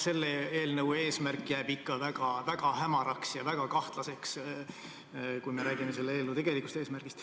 Selle eelnõu eesmärk on ikka väga hämar ja väga kahtlane, kui me räägime selle tegelikust eesmärgist.